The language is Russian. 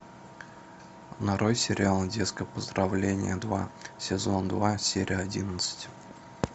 нарой сериал детское поздравление два сезон два серия одиннадцать